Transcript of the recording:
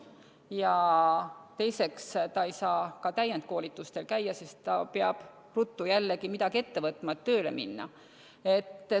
Ja teiseks, ta ei saa ka täiendkoolitustel käia, sest ta peab ruttu jällegi midagi ette võtma, et tööle minna.